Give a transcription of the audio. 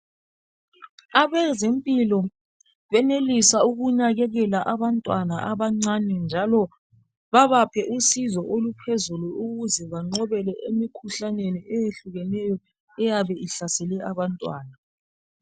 Abeze mpilakahle benelisa ukunakekela abantwana abancane njalo bebaphe usizo oluphezulu ukuze benqobe emikhuhlaneni eyabe ihlasele abantwana